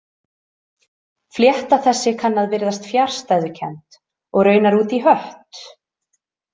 Flétta þessi kann að virðast fjarstæðukennd og raunar út í hött.